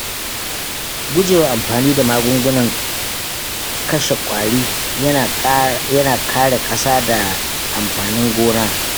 Gujewa amfani da magungunan kashe ƙwari yana kare ƙasa da amfanin gona.